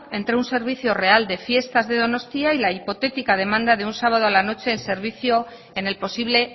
entre un servicio real de fiestas de donostia y al hipotética demanda de un sábado a la noche en servicio en el posible